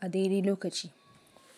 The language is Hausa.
a daidai lokaci.